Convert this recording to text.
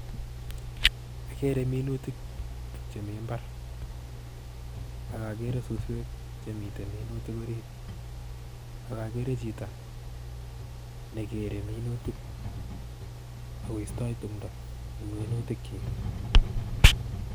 Akere minutik che mi mbar, ak akere suswek chemite minutik orit ak akere chito ne kere minutik ak koistoi tumdo eng minutikchik.